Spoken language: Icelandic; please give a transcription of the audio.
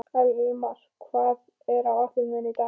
Elmar, hvað er á áætluninni minni í dag?